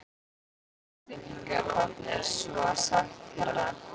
Marteinn kinkaði kolli: Svo er sagt herra.